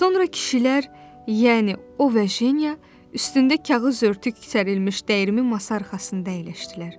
Sonra kişilər, yəni o və Jenya, üstündə kağız örtük sərilmiş dəyirmi masa arxasında əyləşdilər.